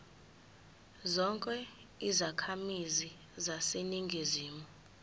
zonke izakhamizi zaseningizimu